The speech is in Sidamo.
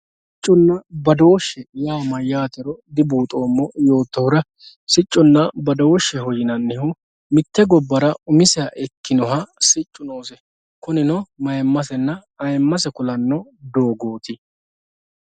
Sicconna badooshsheho yaa mayyaatero dibuuxoommo yoottohura sicconna badooshsheho yinannihu mitte gobbara umiseha ikkinohu siccu noose. Kunino mayimmasenna ayimmase kulanno doogooti.